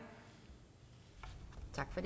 og